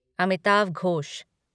Amitav Ghosh